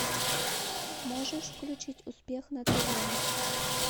можешь включить успех на тв